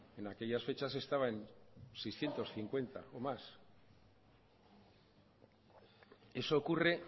en aquellas fechas estaban en seiscientos cincuenta o más eso ocurre